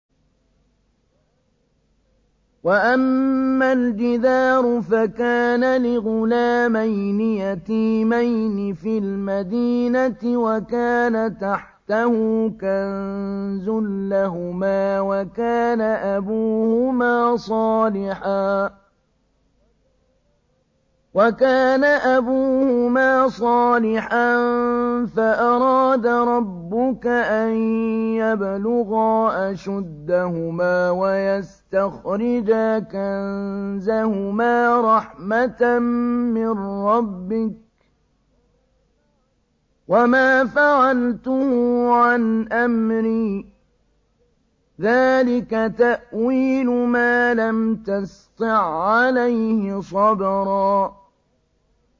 وَأَمَّا الْجِدَارُ فَكَانَ لِغُلَامَيْنِ يَتِيمَيْنِ فِي الْمَدِينَةِ وَكَانَ تَحْتَهُ كَنزٌ لَّهُمَا وَكَانَ أَبُوهُمَا صَالِحًا فَأَرَادَ رَبُّكَ أَن يَبْلُغَا أَشُدَّهُمَا وَيَسْتَخْرِجَا كَنزَهُمَا رَحْمَةً مِّن رَّبِّكَ ۚ وَمَا فَعَلْتُهُ عَنْ أَمْرِي ۚ ذَٰلِكَ تَأْوِيلُ مَا لَمْ تَسْطِع عَّلَيْهِ صَبْرًا